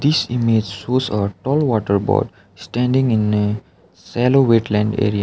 this image shows a tall water bird standing in a shallow wetland area.